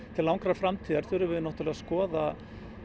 til langrar framtíðar þurfum við að skoða